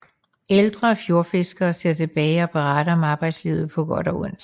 Ældre fjordfiskere ser tilbage og beretter om arbejdslivet på godt og ondt